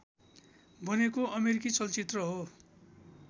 बनेको अमेरिकी चलचित्र हो